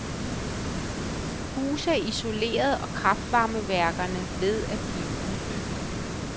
Huse er isoleret og kraftvarmeværkerne ved at blive udbygget.